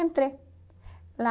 Entrei lá.